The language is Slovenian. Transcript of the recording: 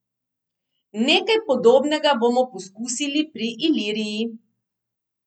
Nekaj podobnega bomo poskusili pri Iliriji.